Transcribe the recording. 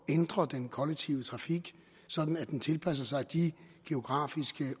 ændre den kollektive trafik sådan at den tilpasser sig de geografiske